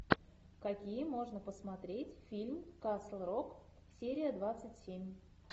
какие можно посмотреть фильм касл рок серия двадцать семь